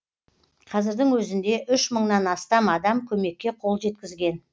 қазірдің өзінде үш мыңнан астам адам көмекке қол жеткізген